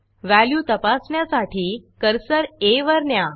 value तपासण्यासाठी cursor आ वर न्या